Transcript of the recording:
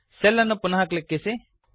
B4 cell ಅನ್ನು ಪುನಃ ಕ್ಲಿಕ್ಕಿಸಿ